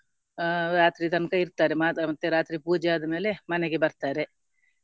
ಅಹ್ ರಾತ್ರಿ ತನಕ ಇಟ್ತಾರೆ ಮತ್ತೆ ರಾತ್ರಿ ಪೂಜೆ ಆದಮೇಲೆ ಮನೆಗೆ ಬರ್ತಾರೆ.